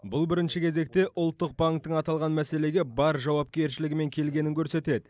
бұл бірінші кезекте ұлттық банктің аталған мәселеге бар жауапкершілігімен келгенін көрсетеді